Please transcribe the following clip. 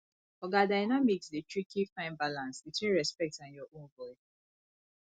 oga dynamics dey tricky find balance between respect and your own voice